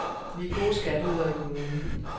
Vi er gode skatteydere i kommunen.